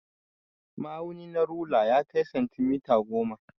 Ma'auni na rula na ya kai santimita goma.